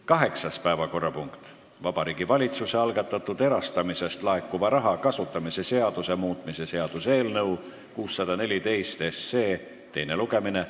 Kaheksas päevakorrapunkt: Vabariigi Valitsuse algatatud erastamisest laekuva raha kasutamise seaduse muutmise seaduse eelnõu 614 teine lugemine.